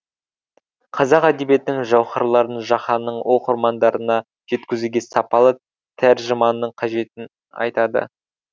қазақ әдебиетінің жауһарларын жаһанның оқырмандарына жеткізуге сапалы тәржіманың қажеттігін айтады